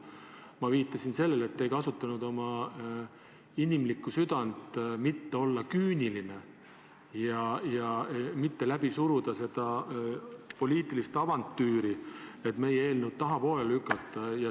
Ma viitasin sellele, et te ei kasutanud oma inimlikku südant selleks, et mitte olla küüniline ja mitte läbi suruda seda poliitilist avantüüri, et meie eelnõu tahapoole lükata.